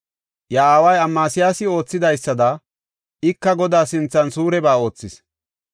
Iya aaway Amasiyaasi oothidaysada ika Godaa sinthan suureba oothis.